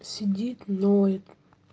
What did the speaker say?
сидит ноет